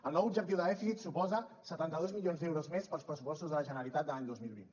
el nou objectiu de dèficit suposa setanta dos milions d’euros més per als pressupostos de la generalitat de l’any dos mil vint